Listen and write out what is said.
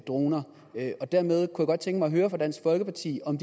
droner dermed kunne jeg godt tænke mig at høre fra dansk folkeparti om